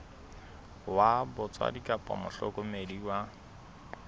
wa batswadi kapa mohlokomedi wa